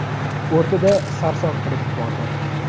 O‘rtada sarson qilib yubordi.